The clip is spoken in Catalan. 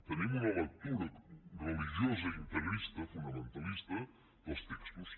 tenim una lectura religiosa integrista fonamentalista dels textos